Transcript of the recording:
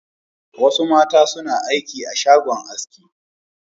Wasu mata suna aiki a shagon aski.